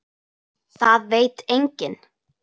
Það veit enginn